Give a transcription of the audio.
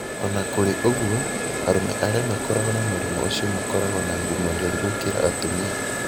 O na kũrĩ ũguo, arũme arĩa makoragwo na mũrimũ ũcio makoragwo na ngumo njũru mũno gũkĩra atumia.